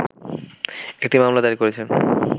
একটি মামলা দায়ের করেছেন